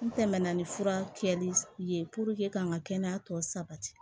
N tɛmɛna ni fura kɛli ye ka n ka kɛnɛya tɔ sabati